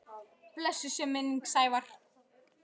Blessuð sé minning Sævars.